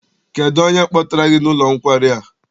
Kedụ onye kpọtara gị n'ụlọ nkwari a?